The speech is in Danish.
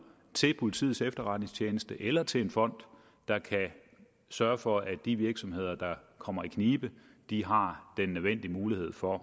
til politiets efterretningstjeneste eller til en fond der kan sørge for at de virksomheder der kommer i knibe har den nødvendige mulighed for